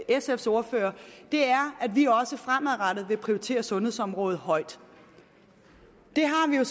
sfs ordfører er at vi også fremadrettet vil prioritere sundhedsområdet højt det har vi jo